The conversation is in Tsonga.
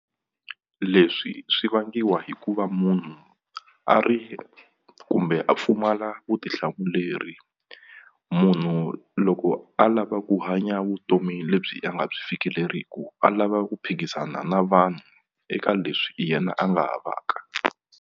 Leswi swi vangiwa hi ku va munhu a ri kumbe a pfumala vutihlamuleri munhu loko a lava ku hanya vutomi lebyi a nga byi fikeleriku a lava ku phikizana na vanhu eka leswi yena a nga havaka.